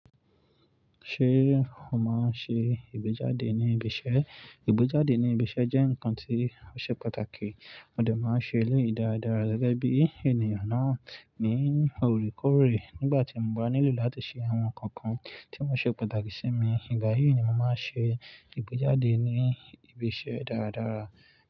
Ṣé o máa ń ṣe ìgbéjáde ní ibi iṣẹ́? Ìgbéjáde ní ibi iṣẹ́ jẹ́ nǹkan tí ó ṣe pàtàkì, mo dà máa ń ṣe ní ìdáradára gẹ́gẹ́ bí ènìyàn náà ní orekoore Nígbà tí mo bá nílò láti ṣe àwọn nǹkan kan tí ó ṣe pàtàkì sí mi, ìgbà yí ni mo máa ń ṣe ìgbéjáde ní ibi iṣẹ́ dáradára.